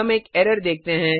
हम एक एरर देखते हैं